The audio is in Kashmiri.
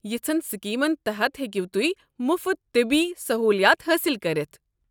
یژھن سکیمن تحت ہیٚکو تُہۍ مُفت طبی سہولیات حٲصل کٔرتھ۔